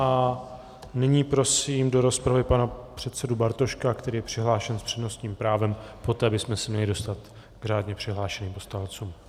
A nyní prosím do rozpravy pana předsedu Bartoška, který je přihlášen s přednostním právem, poté bychom se měli dostat k řádně přihlášeným poslancům.